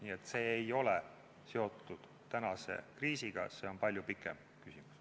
Nii et see ei ole seotud tänase kriisiga, see on palju pikemaajalisem küsimus.